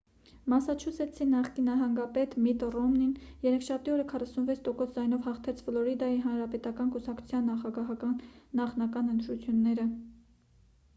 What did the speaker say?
մասաչուսեթսի նախկին նահանգապետ միթ ռոմնին երեքշաբթի օրը 46 տոկոս ձայնով հաղթեց ֆլորիդայի հանրապետական կուսակցության նախագահական նախնական ընտրությունները